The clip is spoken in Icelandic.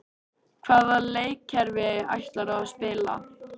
Hvaða leikkerfi ætlarðu að spila?